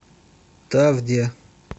тавде